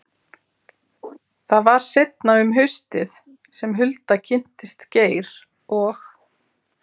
Það var seinna um haustið sem Hulda kynntist Geir og